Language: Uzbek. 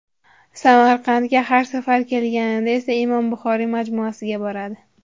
Samarqandga har safar kelganida esa Imom Buxoriy majmuasiga boradi.